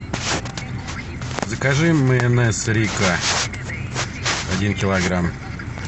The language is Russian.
закажи майонез рикко один килограмм